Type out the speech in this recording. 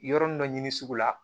Yɔrɔnin dɔ ɲini sugu la